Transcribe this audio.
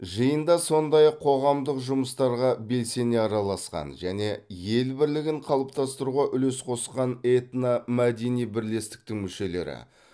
жиында сондай ақ қоғамдық жұмыстарға белсене араласқан және ел бірлігін қалыптастыруға үлес қосқан этномәдени бірлестіктің мүшелері